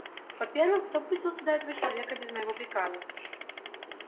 во-первых кто пустил сюда этого человека без моего приказа